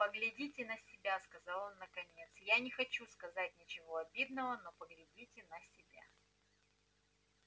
поглядите на себя сказал он наконец я не хочу сказать ничего обидного но поглядите на себя